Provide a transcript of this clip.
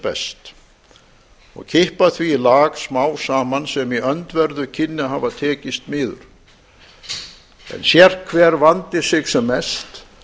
bezt og kippa því í lag smámsaman sem í öndverðu kynni að hafa tekizt miður en sérhverr vandi sig sem mest